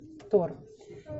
тор